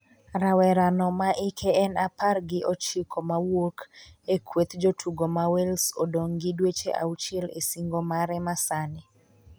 Rawera no ma ike en apar gi ochiko mawuok a kweth jotugo ma wales odong' gi dweche auchiel e singo mare ma sani